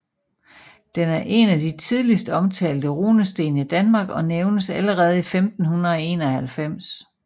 Den er en af de tidligst omtalte runesten i Danmark og nævnes allerede i 1591